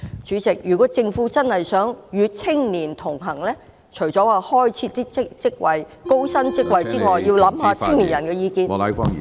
主席，如果政府真的想與青年同行，除了開設高薪職位外，也要考慮青年人的意見。